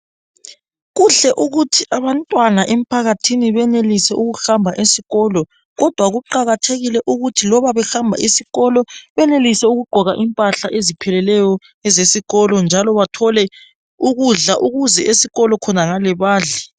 Kuhle ukuthi abantwana emphakathini benelise ukuhamba esikolo kodwa kuqakathekile ukuthi loba behamba esikolo benelise ukugqoka impahla ezipheleleyo ezesikolo njalo bathole ukudla ukuze esikolo khonangale badle.